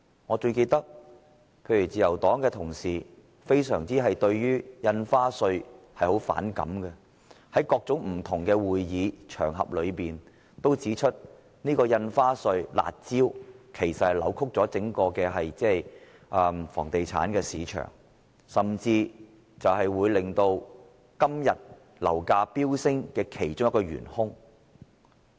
我最記得自由黨的同事對於印花稅非常反感，在各種不同的會議和場合均指出印花稅這"辣招"扭曲了整個房地產市場，甚至是令今天樓價飆升的其中一個元兇。